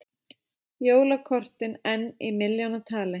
Jólakortin enn í milljónatali